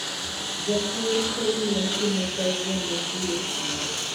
Jakor kor lwasi mar kawuono biro Sindo.